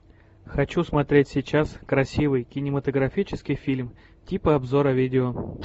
хочу смотреть сейчас красивый кинематографический фильм типа обзора видео